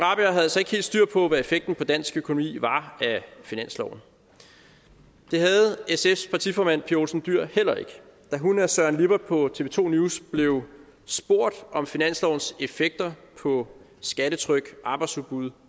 altså ikke helt styr på hvad effekten på dansk økonomi var af finansloven det havde sfs partiformand pia olsen dyhr heller ikke da hun og søren lippert på tv to news blev spurgt om finanslovens effekter på skattetryk arbejdsudbud